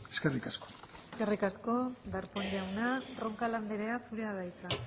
eskerrik asko eskerrik asko darpón jauna roncal andrea zurea da hitza